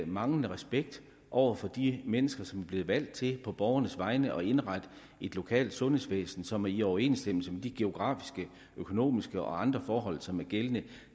manglende respekt over for de mennesker som er blevet valgt til på borgernes vegne at indrette et lokalt sundhedsvæsen som er i overensstemmelse med de geografiske økonomiske og andre forhold som er gældende